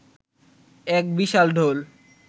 এক বিশাল ঢোল